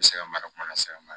U bɛ se ka mara kuma lase ma